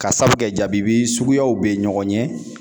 Ka sabu kɛ jabibi suguyaw bɛ ɲɔgɔn ɲɛ